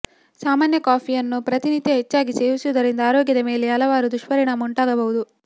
ಸಾಮಾನ್ಯ ಕಾಫಿಯನ್ನು ಪ್ರತಿನಿತ್ಯ ಹೆಚ್ಚಾಗಿ ಸೇವಿಸುವುದರಿಂದ ಆರೋಗ್ಯದ ಮೇಲೆ ಹಲವು ದುಷ್ಪರಿಣಾಮ ಉಂಟಾಗಬಹುದು